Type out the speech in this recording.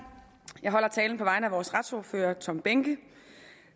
jeg holder talen på vegne af vores retsordfører hr tom behnke